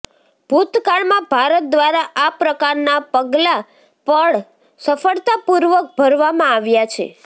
ભૂતકાળમાં ભારત દ્વારા આ પ્રકારના પગલાં પણ સફળતાપૂર્વક ભરવામાં આવ્યા છે